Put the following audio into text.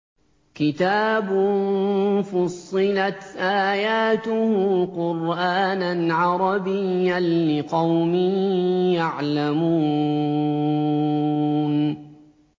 كِتَابٌ فُصِّلَتْ آيَاتُهُ قُرْآنًا عَرَبِيًّا لِّقَوْمٍ يَعْلَمُونَ